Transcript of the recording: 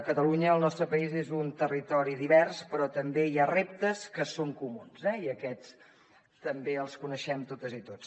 catalunya el nostre país és un territori divers però també hi ha reptes que són comuns eh i aquests també els coneixem totes i tots